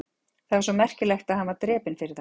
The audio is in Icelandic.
Það var svo merkilegt að hann var drepinn fyrir það?